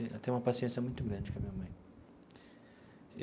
Ela tem uma paciência muito grande com a minha mãe.